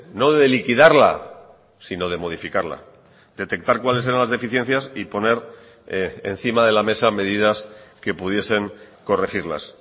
no de liquidarla sino de modificarla detectar cuáles eran las deficiencias y poner encima de la mesa medidas que pudiesen corregirlas